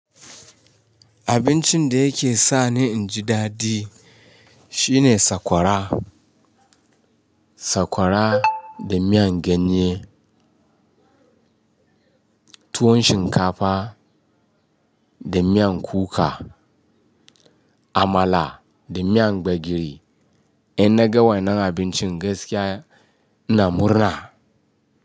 Abincin da yake sa ni in ji dadi shine sakwara. Sakwara da miyan ganye, tuwon shinkafa da miyan kuka, amala da miyan gbegiri. In na ga wannan abincin gaskiya ina murna.